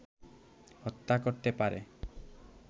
হত্যা করতে পারে